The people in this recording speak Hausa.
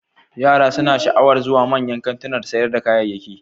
Yara suna sha'awar zuwa manyan kantunan sayar da kayayyaki.